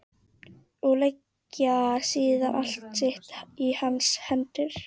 Og leggja síðan allt sitt í hans hendur.